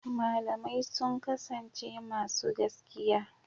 Malamai sun kasance masu gaskiya.